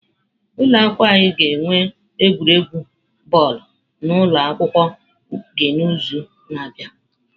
Ụlọ akwụkwọ anyị ga-enwe egwuregwu bọọlụ na ụlọ akwụkwọ gị n'izu na-abịa.